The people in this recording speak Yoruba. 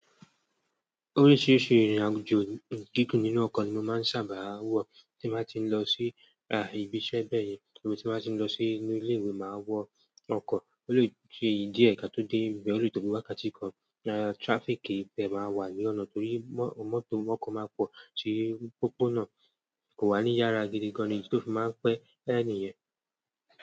Oríṣiríṣi ìrìnàjò gígùn nínú ọkọ̀ ni mo máa ń sábà wọ, tí màá ti ń lọ sí ibi iṣẹ́ bẹ́ẹ̀yẹn tàbí tí màá ti ń lọ sí inú ilé mi máa wọ ọkọ̀. Olóòtú ìdí ẹ̀ ka tó dé ibibẹ̀ ò lè tó bi wákàtí kan, traffic tiẹ máa wà ní ọ̀nà torí mọ́tò máa pọ̀ tí pópónà kò wà ní yára gidi gan-an ni, ìdí tí ó fi máa ń pẹ́ ẹ̀ní yen.